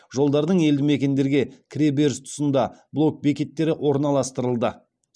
жолдардың елді мекендерге кіре беріс тұсында блок бекеттері орналастырылды